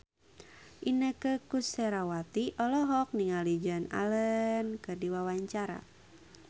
Inneke Koesherawati olohok ningali Joan Allen keur diwawancara